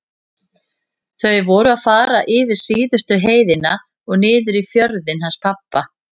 Þau voru að fara yfir síðustu heiðina og niður í fjörðinn hans pabba.